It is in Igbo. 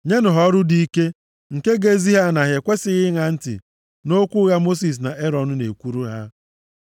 Nyenụ ha ọrụ dị ike, nke ga-ezi ha na ha ekwesighị ịṅa ntị nʼokwu ụgha Mosis na Erọn na-ekwuru ha.”